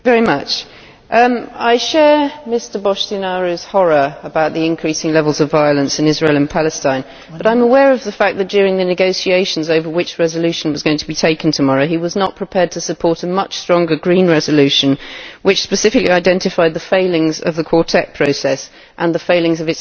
I share Mr Boştinaru's horror about the increase in levels of violence in Israel and Palestine but I am aware of the fact that during the negotiations over which resolution was going to be taken tomorrow he was not prepared to support a much stronger Green resolution which specifically identified the failings of the Quartet process and the failings of its envoy, Tony Blair.